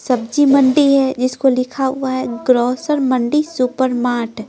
सब्जी मंडी हैजिसको लिखा हुआ हैग्रोसर मंडी सुपरमार्ट--